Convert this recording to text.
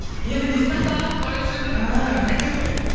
енді не істедіңіз сақтап қойып жүрдім